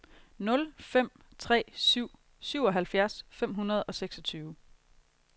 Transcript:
nul fem tre syv syvoghalvfjerds fem hundrede og seksogtyve